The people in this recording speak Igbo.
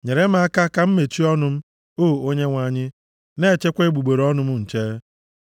Nyere m aka ka m mechie ọnụ m, o Onyenwe anyị; na-echekwa egbugbere ọnụ m nche.